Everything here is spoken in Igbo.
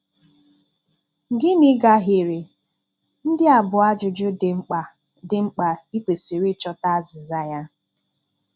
Gịnị gahiere? Ndị a bụ ajụjụ dị mkpa dị mkpa ị kwesịrị ịchọta azịza ya.